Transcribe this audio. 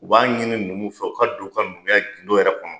U b'a ɲini numuw fɛ u ka don u ka numuya gindo yɛrɛ kɔnɔ